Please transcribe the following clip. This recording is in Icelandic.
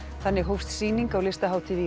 þannig hófst sýning á Listahátíð í